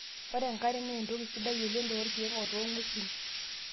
Ore enkare naa entoki sidai oleng' torkiek otoo ng'wesin.